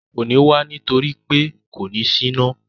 Kò ní wá nítorí pé kò ní síná